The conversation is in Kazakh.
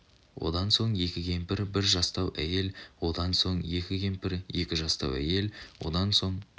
одан соң екі кемпір бір жастау әйел одан соң екі кемпір екі жастау әйел одан соң